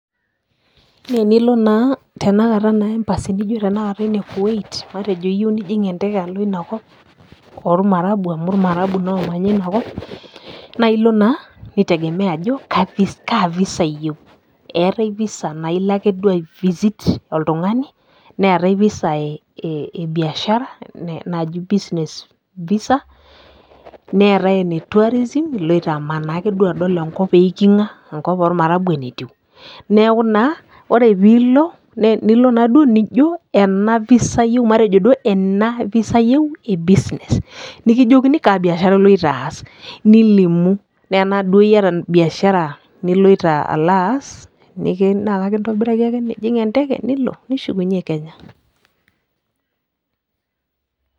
naa enilo naa tenakata embassy naji ene kuwait. matejo iyieu nijing' enteke alo ina kop, oolmarabu amu ilmarabu, naa oomanya ina kop. naa ilo naa itegemea ajo kaa ivisa iyieu. eetae visa naa ilo ake duo ai visit oltungani, neetae visa ee ebiashara, naji business visa neetae ene tourism iloito amanaa ake duo adol enkop eiking'a. enkop oolmaarabu enetiu. neeku naa ore pee ilo, nilo naduoo nijo ena, visa ayieu, matejo duoo ena, visa iyieu e business nikijokini, kaa biashara iloito aas, nilimu. naa tenaa duo iyata biashara, niloito alo aas, naa ekintobiraki ake nijing' enteke, nilo. nishukuney kenya.